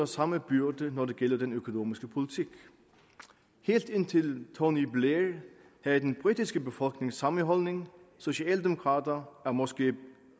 samme byrde når det gælder den økonomiske politik helt indtil tony blair havde den britiske befolkning samme holdning socialdemokrater er måske